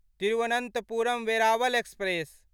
Thiruvananthapuram Veraval express